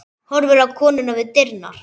Horfir á konuna við dyrnar.